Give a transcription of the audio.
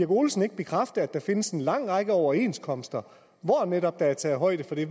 olesen ikke bekræfte at der findes en lang række overenskomster hvor der netop er taget højde for det